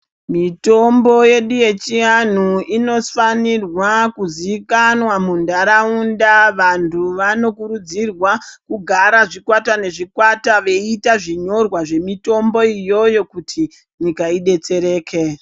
Mitombo yedu yechianhu inofanirwa kuziikanwa munharaunda vantu vanokurudzirwa kugara zvikwata nezvikwata veita zvinyorwa zvemitombo iyoyo kuti nyika idetstereke.